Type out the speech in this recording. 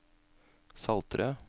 Saltrød